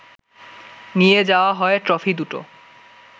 নিয়ে যাওয়া হয় ট্রফি দুটো